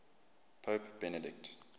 pope benedict